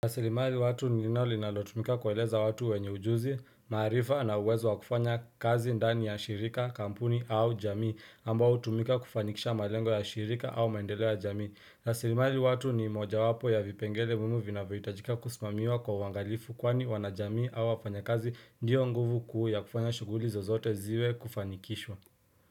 Rasilimali watu ni ile linalotumika kueleza watu wenye ujuzi, maarifa na uwezo wa kufanya kazi ndani ya shirika, kampuni au jamii, ambao utumika kufanikisha malengo ya shirika au maendele ya jamii. Rasilimali watu ni moja wapo ya vipengele muhimu vinavyahitajika kusumamiwa kwa uangalifu kwani wanajamii au wafanya kazi ndiyo nguvu kuu ya kufanya shughuli zozote ziwe kufanikishwa.